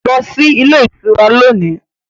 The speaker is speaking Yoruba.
Go to the hotel today